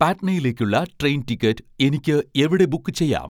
പാട്നയിലേയ്ക്കുള്ള train ticket എനിക്ക് എവിടെ book ചെയ്യാം